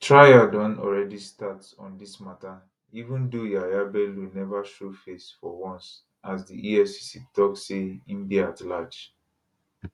trial don already start on dis mata even though yahaya bello neva show face for once as di efcc tok say im dey at large